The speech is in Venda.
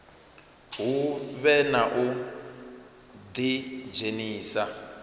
hu vhe na u ḓidzhenisa